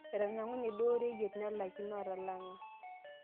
etanang'unye duo oreyiet nalikino atalanga